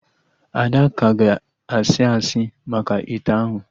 Ada ka ga asị asị maka ite ahụ